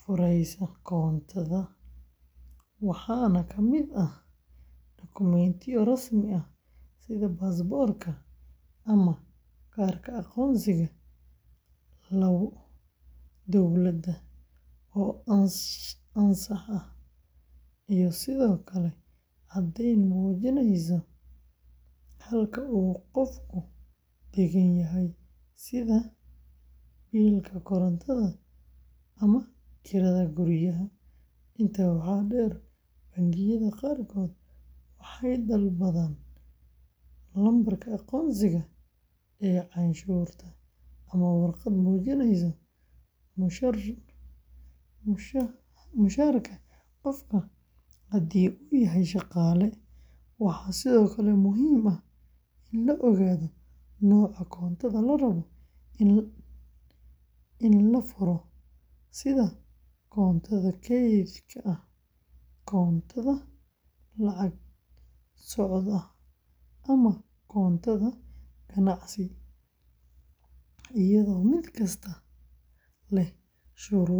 furaysa koontada, waxaana ka mid ah dokumentiyo rasmi ah sida baasaboorka ama kaarka aqoonsiga dowladda oo ansax ah, iyo sidoo kale caddeyn muujinaysa halka uu qofku degan yahay, sida biilka korontada ama kirada guryaha. Intaa waxaa dheer, bangiyada qaarkood waxay dalbadaan lambarka aqoonsiga canshuurta ama warqad muujinaysa mushaharka qofka haddii uu yahay shaqaale. Waxaa sidoo kale muhiim ah in la ogaado nooca koontada la rabo in la furo, sida koonto kayd ah, koonto lacag socod ah, ama koonto ganacsi, iyadoo mid kasta leh shuruudo iyo adeegyo u gaar ah. Intaa waxaa dheer.